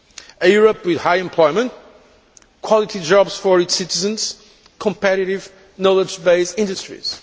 A Europe with high employment, quality jobs for its citizens and competitive, knowledge based industries.